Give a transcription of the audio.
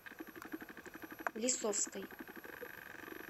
лисовской